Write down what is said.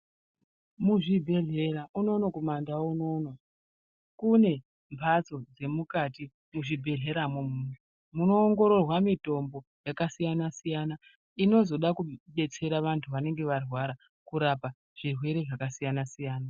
Muzvibhedhlera unono kumandau unono kune mbatso dzemukati muzvibhedhleramwo umomo munoongororwa mutombo yakasiyana siyana inozoda kudetsera vantu vanenge varwara kurapa zvirwere zvakasiyana siyana.